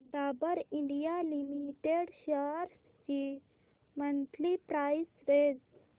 Dabur India limited shares ची monthly price range